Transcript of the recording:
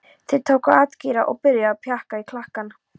Þeir tóku atgeira og byrjuðu að pjakka í klakann.